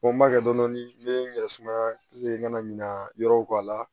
Ko n ma kɛ dɔni ne ye n yɛrɛ sumaya n kana ɲina yɔrɔw kɔ a la